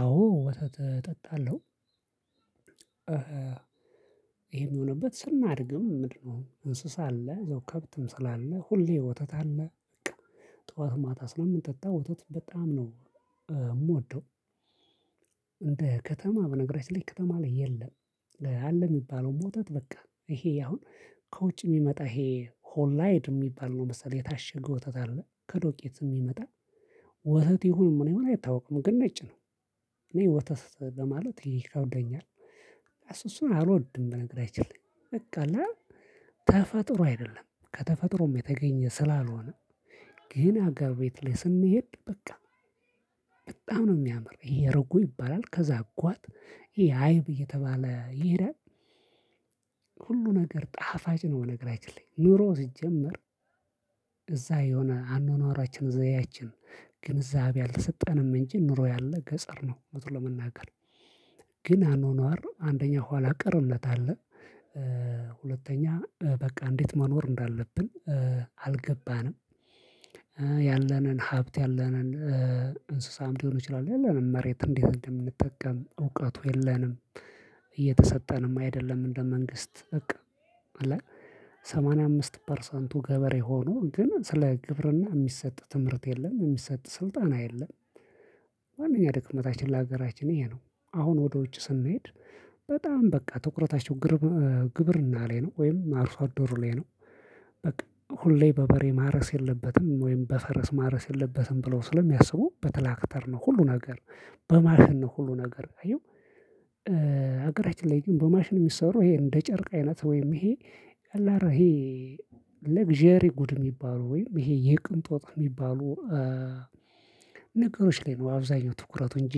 አዎ ወተት እጠጣለሁ። ይሄም የሆነበት ስናድግም ምንድነው? እንስሳ አለ እዛው ከብትም ስላለ ሁሌ ወተት አለ ጠዋት ማታ ስለምንጠጣ ወተት በጣም ነው እምወደው። እንደ ከተማ በነገራችን ላይ ከተማ ላይ የለም። አለ የሚባለውም ወተት በቃ ይሄ አሁን ከውጭ የሚመጣ ይሄ ሆላይድ የሚባል ነው መሰለህ የታሸገው ወተት አለ ከዶቄት የሚመጣ ወተት ይሁንም ምን ይሁን አይታወቅም ግን ነጭ ነው። እኔ ወተት ለማለት ይከብደኛል እሱን እሱን አልወድም። በነገራችን ላይ በቃ አለ ተፈጥሮ አይደለም ከተፈጥሮም የተገኘ ስላልሆነ። ግን አገርቤት ላይ ስንሄድ በቃ በጣም ነው የሚያምር ይሄ እርጎ ይባላል ከዛ አጓት ይሄ አይብ እየተባለ ይሄዳል። ሁሉ ነገር ጣፋጭ ነው ቀነገራችን ላይ ኑሮ ሲጀመር እዛ የሆነ አኗኗራችን ዘዬአችን ግንዛቤ አልተሰጠንም እንጂ ኑሮ ያለ ገጠር ነው እውነቱን ለመናገር። ግን አኗኗር አንደኛ ኋላ ቀርነት አለ። ሁለተኛ በቃ እንዴት መኖር እንዳለብን አልገባንም። ያለንን ሀብት ያለንን እንስሳም ሊሆን ይችላል ያለንን መሬት እንዲህ እንደምንጠቀም እውቀቱ የለንም። እየተሰጠንም አይደለም እንደ መንግስት እቅ አለ ሰማንያ አምስት ፐርሰንቱ ገበሬ ሆኖ ግን ስለ ግብርና የሚሰጥ ትምህርት የለም የሚሰጥ ስልጣና የለም። ዋነኛ ድክመታችን ለሀገራችን ይሄ ነው አሁን ወደ ውጭ ስንሄድ በጣም በቃ ትኩረታቸው ግብርና ላይ ነው ወይም አርሶአደሩ ላይ ነው። በቃ ሁሌ በበሬ ማረስ የለበትም ወይም በፈረስ ማረስ የለበትም ብለው ስለሚያስቡ በትላክተር ነው ሁሉ ነገር በማሽን ነው ሁሉ ነገር አየው። ሀገራችን ላይ በማሽን የሚሰሩ ይሄ እንደ ጨርቅ አይነት ወይም ይሄ ቀላል አረ ለግዠሪ ጉድ የሚባለው ወይም ይሄ የቅንጦጥ የሚባለው የሚባሉ ነገሮች ላይ ነው አብዛኛው ትኩረቱ እንጂ።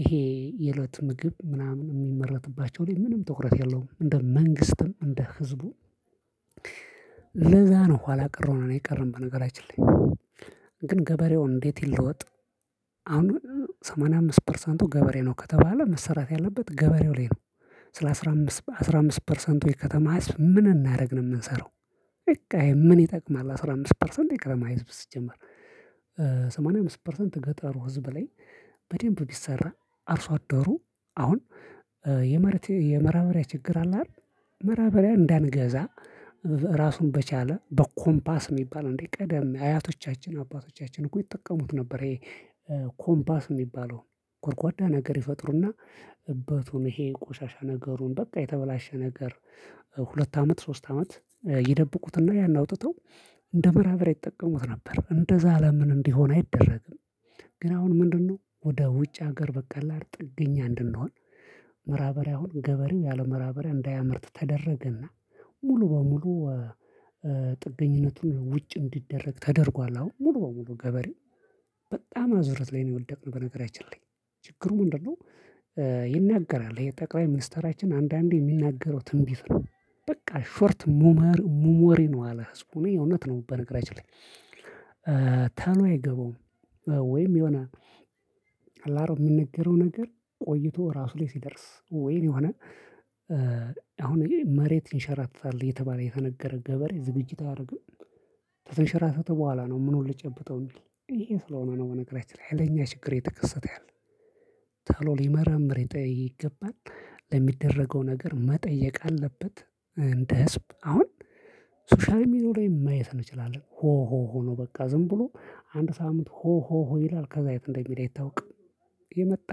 ይሄ የለት ምግብ ምናምን የሚመረትባቸው ላይ ምንም ትኩረት የለውም እንደ መንግስትም እንደ ህዝቡ። ለዛ ነው ኋላ ቀረው ነው የቀረን በነገራችን ላይ ግን ገበሬውን እንዴት ይለወጥ? አሁን ሰማንያ አምስት ፐርሰንቱ ገበሬ ነው ከተባለ መሰራት ያለበት ገበሬው ላይ ነው። ስለ አስራ አምስት አስራ አምስት ፐርሰንቱ ከተማ ህዝብ ምን እናረግ ነው የምንሰራው። በቃ ምን ይጠቅማል አስራ አምስት ፐርሰንት ይቅር ማይዝ ሲጀመር ሰማንያ አምስት ፐርሰንት ገጠሩ ህዝብ ላይ በደንብ ቢሰራ አርሶ አደሩ አሁን የማዳበሪያ ችግር አለ አይደል? ማዳራበሪያ እንዳንገዛ ራሱን በቻለ በኮምፓስ የሚባል እንዴ ቀደም አያቶቻችን አባቶቻችን እኮ ይጠቀሙት ነበር። ይሄ ኮምባስ የሚባለው ጎርጓዳ ነገር ይፈጥሩና እበቱን ይሄ ቆሻሻ ነገሩን በቃ የተበላሸ ነገር ሁለት አመት ሶስት አመት ይደብቁትና ያን አውጥተው እንደ ማዳበሪያ ይጠቀሙት ነበር። እንደዛ ለምን እንዲሆን አይደረግም? ግን አሁን ምንድነው ወደ ውጭ ሀገር ላይ ጥገኛ እንድንሆን። ማዳበሪያ ሆኖ ገበሬ ያለ ማዳራበሪያ እንዳያመርት ተደረገና ሙሉ በሙሉ ጥገኝነቱን ውጭ እንዲደረግ ተደርጓል። አሁን ሙሉ በሙሉ ገበሬ አዙረት ላይ ነው የወደቅነው። በነገራችን ላይ ችግሩ ምንድነው? ይናገራል የጠቅላይ ሚኒስተራችን አንዳንዴ የሚናገረው ትንቢት ነው። ሾርት ሙመር ሙሞሬ ነው አለ ህዝቡን እውነት ነው በነገራችን ላይ ቶሎ አይገባውም። ወይም የሆነ አላሮ የሚነገረው ነገር ቆይቶ ራሱ ላይ ሲደርስ ወይን የሆነ አሁን መሬት ይንሸራተታል እየተባለ የተነገረ ገበሬ ዝግጅት አያደርግም። ከተንሽራተተ በኋላ ነው ምኑን ልጨብጠው የሚል ይሄን ስለሆነ ነው በነገራችን ላይ ያለኛ ችግር የተከሰተ ያለ ተሎ ሊመረምር ይገባል። ለሚደረገው ነገር መጠየቅ አለበት እንደ ህዝብ አሁን ሶሻል ሚዲያው ላይ ማየት እንችላለን። ሆ ሆ ሆ ነው በቃ ዝም ብሎ አንድ ሳሙት ሆ ሆ ሆ ይላል ከዛ የት እንደሚል አይታወቅም። የመጣ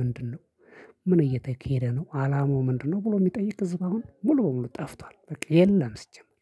ምንድነው? ምን እየተኬደ ነው አላማው ምንድነው? ብሎ የሚጠይቅ ህዝብ አሁን ሙሉ በሙሉ ጠፍቷል በቃ የለም ሲጀመር።